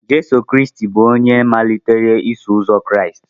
Jizọs Kraịst bụ onye malitere Iso Ụzọ Kraịst